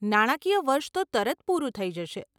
નાણાકીય વર્ષ તો તરત પૂરું થઇ જશે.